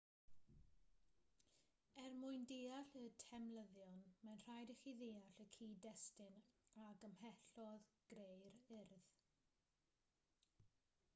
er mwyn deall y temlyddion mae'n rhaid i chi ddeall y cyd-destun a gymhellodd greu'r urdd